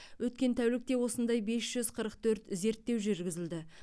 өткен тәулікте осындай бес жүз қырық төрт зерттеу жүргізілді